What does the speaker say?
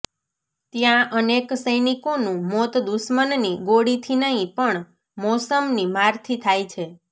ત્યા અનેક સૈનિકોનુ મોત દુશ્મનની ગોળીથી નહી પણ મૌસમની મારથી થાય છે